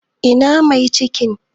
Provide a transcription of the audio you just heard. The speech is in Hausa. Ina mai cikin?